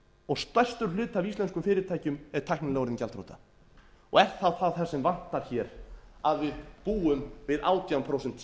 og stærstur hluti af íslenskum fyrirtækjum er tæknilega orðinn gjaldþrota er þá það sem vantar hér að við búum við átján prósent stýrivexti